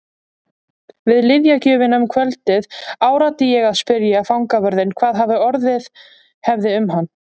Við lyfjagjöfina um kvöldið áræddi ég að spyrja fangavörðinn hvað orðið hefði um hann.